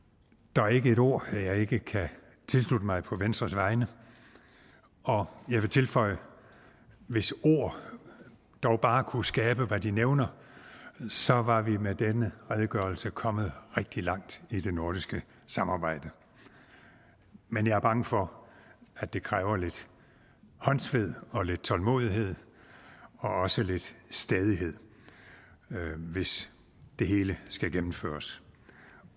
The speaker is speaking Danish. der er ikke et ord jeg ikke kan tilslutte mig på venstres vegne og jeg vil tilføje at hvis ord dog bare kunne skabe hvad de nævner så var vi med denne redegørelse kommet rigtig langt i det nordiske samarbejde men jeg er bange for at det kræver lidt håndsved og lidt tålmodighed og også lidt stædighed hvis det hele skal gennemføres